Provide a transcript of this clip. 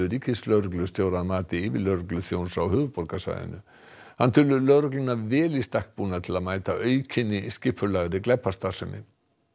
ríkislögreglustjóra að mati yfirlögregluþjóns á höfuðborgarsvæðinu hann telur lögregluna vel í stakk búna til að mæta aukinni skipulagðri glæpastarfsemi